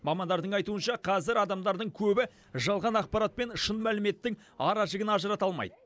мамандардың айтуынша қазір адамдардың көбі жалған ақпарат пен шын мәліметтің аражігін ажырата алмайды